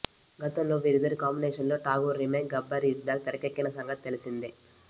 గతంలో వీరిద్దరి కాంబినేషన్లో Tagore remake Gabbar is back తెరకెక్కిన సంగతి తెలిసిందే